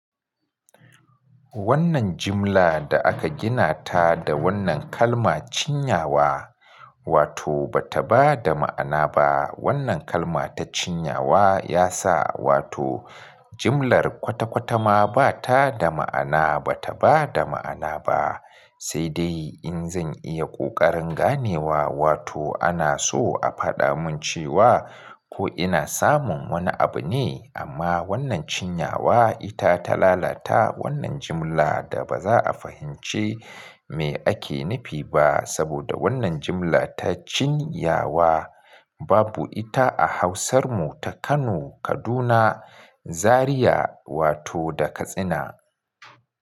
Wannan jumla da aka gina ta da wannan kalma cinyawa, wato ba ta ba da ma'ana ba. Wannan kalma ta cinyawa yasa wato jymlar kwata-kwata ma ba ta da ma'ana, ba ta ba da ma'ana ba. Sai dai in zan iya ƙoƙarin ganewa, wato ana so a faɗa mun cewa ko ina samun wani abu ne, amma wannan cinyawa ita ta lalata wannan jimla da ba za a fahimci me ake nufi ba. Saboda wannan jumlar ta cinyawa babu ita a Hausar ku ta Kano, Kaduna, Zaria, wato da Katsina.